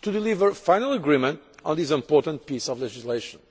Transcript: to deliver final agreement on this important piece of legislation.